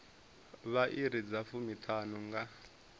vha iri dza fumiṱhanu nga